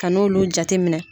Ka n'olu jateminɛ